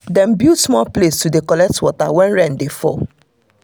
dem build small place to dey collect water when rain dey fall